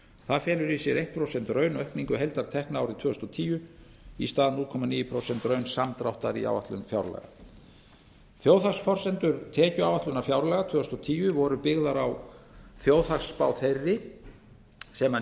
það felur í sér eitt prósent raunaukningu heildartekna árið tvö þúsund og tíu í stað núll komma níu prósent raunsamdráttar í áætlun fjárlaga þjóðhagsforsendur tekjuáætlunar fjárlaga tvö þúsund og tíu voru byggðar á þjóðhagsspá þeirri sem